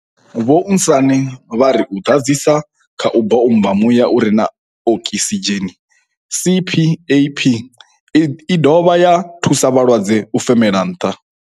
Vho Sanne vha ri u ḓadzisa kha u bommba muya u re na okisidzheni, CPAP i dovha ya thusa vhalwadze u femela nnḓa.